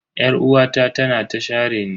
Yar'uwata tana ta shareni.